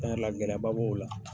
yɛrɛ gɛlɛya ba b'o la.